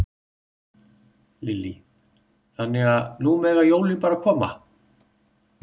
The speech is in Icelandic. Lillý: Þannig að nú mega bara jólin koma?